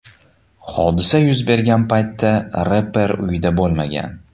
Hodisa yuz bergan paytda reper uyida bo‘lmagan.